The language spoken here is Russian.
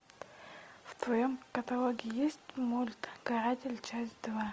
в твоем каталоге есть мульт каратель часть два